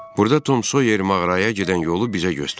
Burda Tom Soyer mağaraya gedən yolu bizə göstərdi.